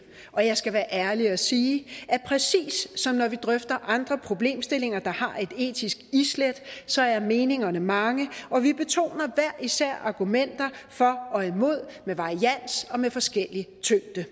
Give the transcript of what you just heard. og jeg skal være ærlig og sige at præcis som når vi drøfter andre problemstillinger der har et etisk islæt så er meningerne mange og vi betoner hver især argumenter for og imod med varians og med forskellig tyngde